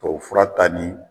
Tubabufura ta ni